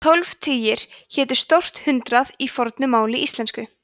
tólf tugir hétu stórt hundrað í fornu máli íslensku